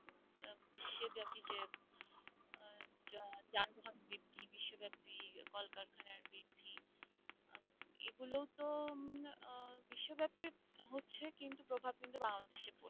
সব কিন্তু বাংলাদেশে